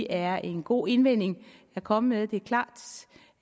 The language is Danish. er en god indvending at komme med det er klart